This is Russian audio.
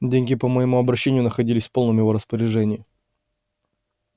деньги по моему обещанию находились в полном его распоряжении